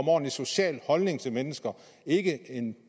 ordentlig social holdning til mennesker og ikke en